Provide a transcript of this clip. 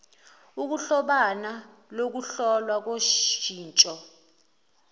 ukuhlobana kokuhlolwa koshintsho